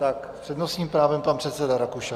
S přednostním právem pan předseda Rakušan.